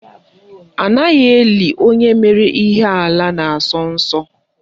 Anaghị eli onye mere ihe ala na asọ nsọ.